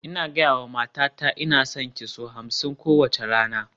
Ina gaya wa matata "Ina son ki" sau hamsin kowace rana